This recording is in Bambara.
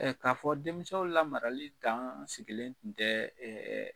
k'a fɔ denmisɛnw lamarali dan sigilen kun tɛ